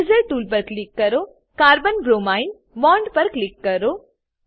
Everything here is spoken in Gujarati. ઇરેઝર ટૂલ પર ક્લિક કરો અને carbon બ્રોમિન બોન્ડ પર ક્લિક કરો